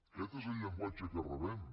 aquest és el llenguatge que rebem